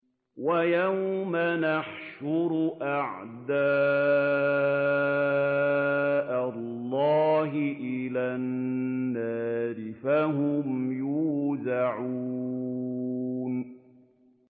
وَيَوْمَ يُحْشَرُ أَعْدَاءُ اللَّهِ إِلَى النَّارِ فَهُمْ يُوزَعُونَ